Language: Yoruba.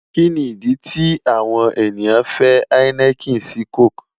Kini idi ti awọn eniyan fẹ heineken si coke?